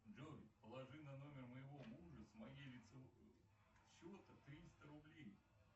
джой положи на номер моего мужа с моего лицевого счета триста рублей